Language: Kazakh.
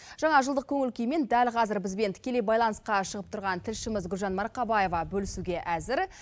жаңа жылдық көңіл күймен дәл қазір бізбен тікелей байланысқа шығып тұрған тілшіміз гүлжан марқабаева бөлісуге әзір